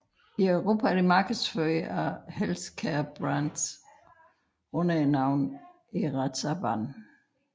I Europa er det markedsført af Healthcare Brands under navnet Erazaban